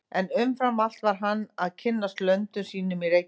En umfram allt varð hann að kynnast löndum sínum í Reykjavík.